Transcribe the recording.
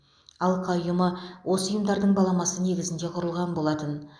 алқа ұйымы осы ұйымдардың баламасы негізінде құрылған болатын